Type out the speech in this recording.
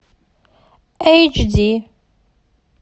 эйч ди